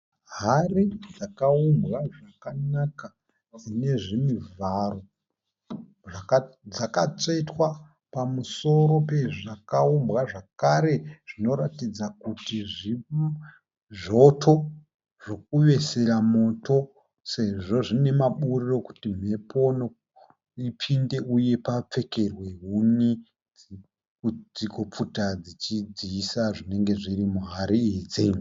Hari dzakaumbwa zvakanaka ine zvimivharo. Zvakatsvetwa pamusoro pezvakaumbwa. Zvakare, zvinoratidza kuti zvoto zvokuvesera moto sezvo zvine maburi okuti mhepo ipinde uye papfekerwe huni kuti kupfuta dzichidziisa zvinenge zviri muhari idzi.